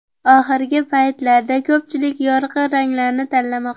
Oxirgi paytlarda ko‘pchilik yorqin ranglarni tanlamoqda.